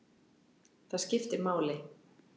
Það skipti máli.